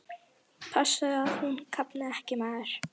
Passaðu að hún kafni ekki, maður!